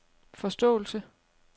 forståelse